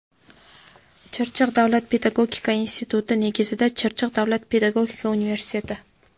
Chirchiq davlat pedagogika instituti negizida Chirchiq davlat pedagogika universiteti;.